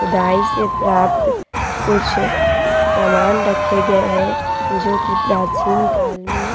खुदाई से प्राप्त कुछ सामान रखे गए है जो कि प्राचीन काल में --